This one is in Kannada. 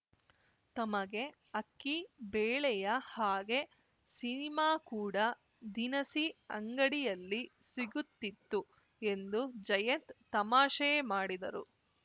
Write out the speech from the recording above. ತಮಗೆ ಅಕ್ಕಿ ಬೇಳೆಯ ಹಾಗೆ ಸಿನಿಮಾ ಕೂಡ ದಿನಸಿ ಅಂಗಡಿಯಲ್ಲಿ ಸಿಗುತ್ತಿತ್ತು ಎಂದು ಜಯತ್‌ ತಮಾಷೆ ಮಾಡಿದರು